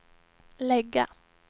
lägga